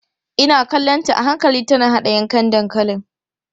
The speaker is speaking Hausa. Ina kallonta a hankali tana haɗa yankan dankalin.